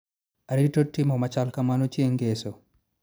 Arito timo machal kamano chieng' ngeso